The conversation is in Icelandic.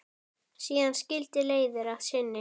Síðan skildi leiðir að sinni.